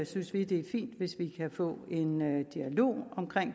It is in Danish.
synes vi det er fint hvis vi kan få en dialog om